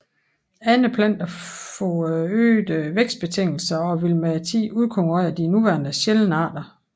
Andre planter får øgede vækstbetingelser og vil med tiden udkonkurrere de nuværende sjældne arter